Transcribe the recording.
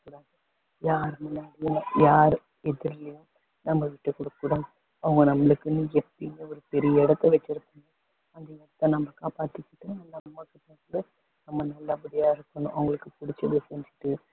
யாரு முன்னாடியும் யார் எதிர்லயும் நம்ம விட்டு கொடுக்க கூடாது அவங்க நம்மளுக்குன்னு‌ எப்பயுமே ஒரு பெரிய இடத்த வச்சிருக்காங்க அந்த இடத்த நம்ம காப்பாத்திகிட்டு நம்ம அம்மாகிட்ட நம்ம நல்லபடியா இருக்கணும் அவங்களுக்கு பிடிச்சத செஞ்சுகிட்டு